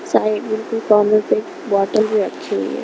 पाणी कि बोतल भी रखी हुई है.